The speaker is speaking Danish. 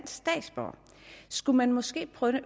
statsborgere skulle man måske prøve at